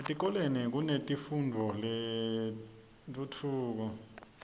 etikolweni kunetifundvo tetentfutfuko